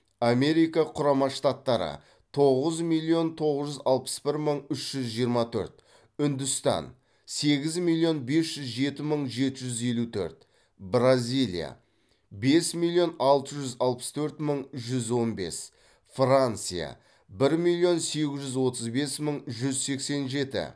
америка құрама штаттары тоғыз миллион тоғыз жүз алпыс бір мың үш жүз жиырма төрт үндістан сегіз миллион бес жүз жеті мың жеті жүз елу төрт бразилия бес миллион алты жүз алпыс төрт мың жүз он бес франция бір миллион сегіз жүз отыз бес мың жүз сексен жеті